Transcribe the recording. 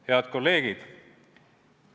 Head kolleegid!